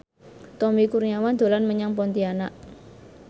Tommy Kurniawan dolan menyang Pontianak